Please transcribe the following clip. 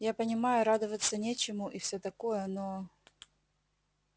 я понимаю радоваться нечему и всё такое но